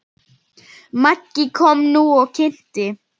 Maggi kom nú og kynnti.